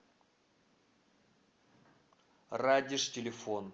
радеж телефон